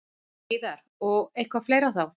Heiðar: Og eitthvað fleira þá?